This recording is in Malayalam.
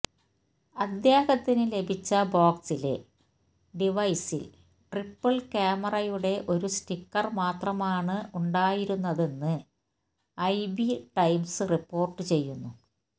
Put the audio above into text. അദ്ദേഹത്തിന് ലഭിച്ച ബോക്സിലെ ഡിവൈസിൽ ട്രിപിൾ ക്യാമറയുടെ ഒരു സ്റ്റിക്കർ മാത്രമാണ് ഉണ്ടായിരുന്നതെന്ന് ഐബി ടൈംസ് റിപ്പോർട്ട് ചെയ്യുന്നു